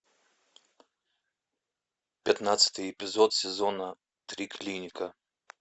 пятнадцатый эпизод сезона три клиника